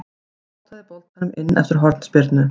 Potaði boltanum inn eftir hornspyrnu.